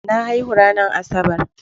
Na haihu ranar Asabar.